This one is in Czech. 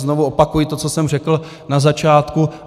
Znovu opakuji to, co jsem řekl na začátku.